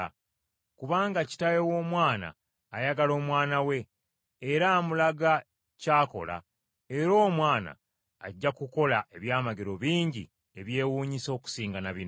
Kubanga Kitaawe w’Omwana ayagala Omwana we era amulaga ky’akola, era Omwana ajja kukola ebyamagero bingi ebyewuunyisa okusinga na bino.